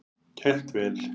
Kælt vel.